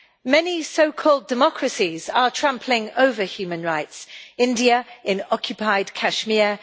Many so-called democracies are trampling over human rights India in occupied Kashmir